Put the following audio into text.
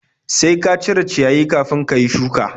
Sai ka cire ciyayi kafin ka yi shuka!